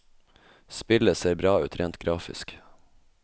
Spillet ser bra ut rent grafisk.